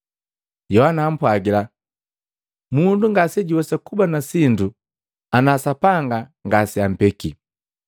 Yohana ampwagila, “Mundu ngasejuwesa kuba na sindu ana Sapanga ngaseampeki.